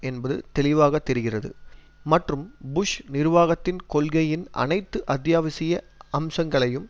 என்பது தெளிவாக தெரிகிறது மற்றும் புஷ் நிர்வாகத்தின் கொள்கையின் அனைத்து அத்தியாவசிய அம்சங்களையும்